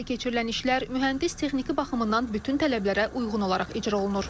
Həyata keçirilən işlər mühəndis texniki baxımından bütün tələblərə uyğun olaraq icra olunur.